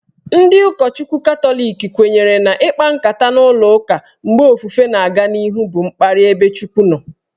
Ndị ụkọchukwu Katọlik kwenyere na ikpa nkata n'ụlọụka mgbe ofufe na-aga n'ihu bụ mkparị ebe Chukwu nọ.